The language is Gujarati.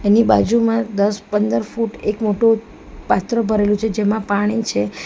ની બાજુમાં દસ પંદર ફૂટ એક મોટુ પાત્ર ભરેલું છે જેમાં પાણી છે.